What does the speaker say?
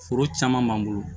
Foro caman b'an bolo